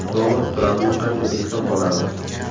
Donald Trampni qanday eslab qolamiz?